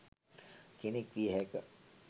කෙනෙක් විය හැක.